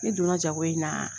Ne donna jago in na